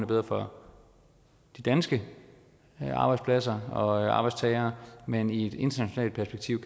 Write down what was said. bedre for de danske arbejdspladser og arbejdstagere men i et internationalt perspektiv